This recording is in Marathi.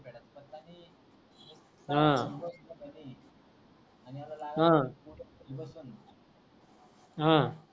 हा अणि हा हा